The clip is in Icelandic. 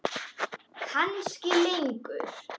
Kannski lengur.